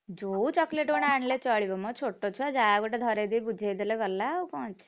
ଯୋଉ chocolate ଗୋଟେ ହେଲେ ଚଳିବ ମ ଛୋଟ ଛୁଆ ଯାହା ଗୋଟେ ଧରେଇ ଦେଇ ବୁଝେଇ ଦେଲେ ଗଲା ଆଉ କଣ ଅଛି?